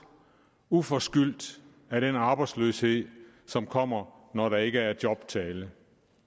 uforskyldt af den arbejdsløshed som kommer når der ikke er job til alle